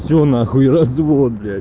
всё нахуй развод блять